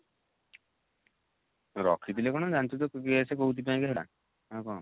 ରଖିଥିଲେ କଣ ଜାଣିଛୁ ତ ଆଉ କଣ